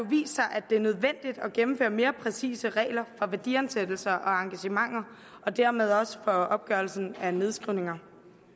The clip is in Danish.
at det er nødvendigt at gennemføre mere præcise regler for værdiansættelser og engagementer og dermed også for opgørelsen af nedskrivninger